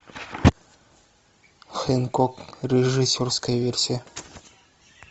хэнкок режиссерская версия